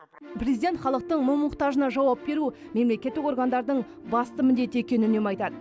президент халықтың мұң мұқтажына жауап беру мемлекеттік органдардың басты міндеті екенін үнемі айтады